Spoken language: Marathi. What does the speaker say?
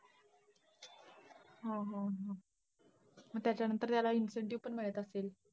हो हो, हो. मग त्याच्यानंतर त्याला incentive पण मिळत असतील.